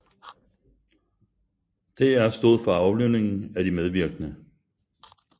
DR stod for aflønningen af de medvirkende